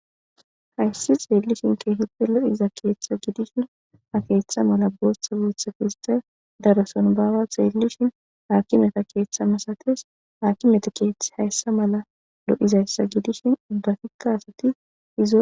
Hayssi xeellishin keehipe lo7iza keeththa gidishin a keeththa mala booththa wuutha keesta daroson baawa xeellishin haakimeta keeththa masates haakimeta keeth hayssa mala lo7izayssa gidishin ubbafikka asati izo